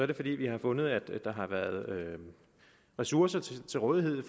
det fordi vi har fundet at der har været ressourcer til til rådighed